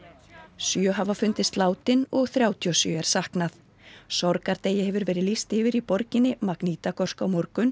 sjö hafa fundist látin og þrjátíu og sjö er saknað sorgardegi hefur verið lýst yfir í borginni Magnitagorsk á morgun